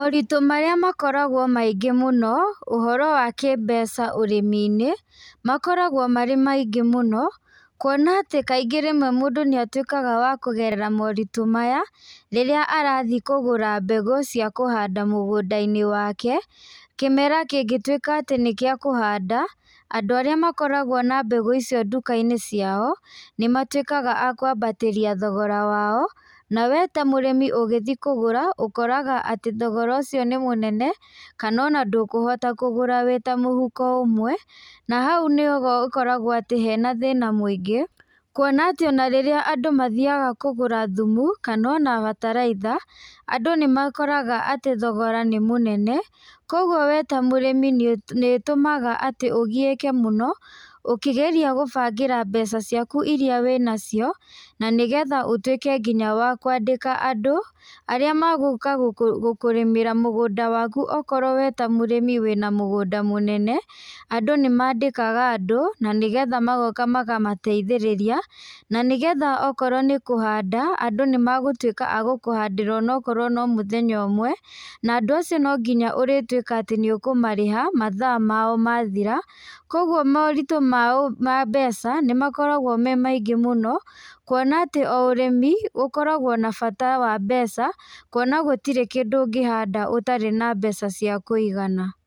Moritũ marĩa makoragwo maingĩ mũno, ũhoro wa kĩ mbeca ũrĩmi-inĩ, makoragwo marĩ maingĩ mũno, kuona atĩ kaingĩ rĩmwe mũndũ nĩatwĩkaga wa kũgerera moritũ maya, rĩrĩa arathiĩ kũgũra mbegũ cia kũhanda mũgũnda-inĩ wake, kĩmera kĩngĩtwĩka atĩ nĩ kĩa kũhanda, andũ aría makoragwo na mbegũ icio nduka-inĩ ciao, nĩmatwĩkaga a kũambatĩria thogora wao, nawe ta mũrĩmi ũgĩthi kũgũra, ũkoraga atĩ thogora ũcio nĩ mũnene, kanona ndũkũhota kũgũra wĩ ta mũhuko ũmwe, na hau nĩho úkoragwo hena thĩna mũingĩ, kuona atĩ ona rĩrĩa andũ mathiaga kũgũra thumu kanona bataraitha, andũ nĩmakoraga atĩ thogora nĩ mũnene, koguo we ta mũrĩmi nĩ nĩtũmaga atĩ ũgiĩke mũno, ũkĩgeria gũbangĩra mbeca ciaku iria wĩ nacio, na nĩgetha ũtwĩke nginya wa kũandĩka andũ, arĩa magũ magũka gũkũrímĩra mũgũnda waku okorwo we ta mũrĩmi wĩna mũgũnda mũnene, andũ nĩmandĩkaga andũ, nanĩgetha magoka makamateithĩrĩria, na nĩgetha okorwo nĩ kũhanda, andũ nĩmagũtwĩka agũkũhandĩra onokorwo nĩ mũthenya ũmwe, na andũ acio nonginya ũrĩtwĩka atĩ nĩũkũmarĩha mathaa mao mathira, koguo moritũ maũ ma mbeca, nĩmakoragwo me maingĩ mũno, kuona atĩ o ũrĩmi, ũkoragwo na bata wa mbeca, kuona gũtirĩ kĩndũ ũngĩhanda ũtarĩ nambeca cia kũigana.